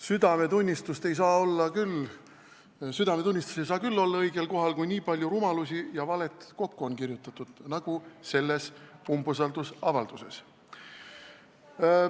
Südametunnistus ei saa küll olla õigel kohal, kui on nii palju rumalusi ja valet kokku kirjutatud nagu selles umbusaldusavalduses.